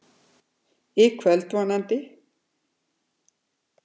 Í kvöld, vonandi.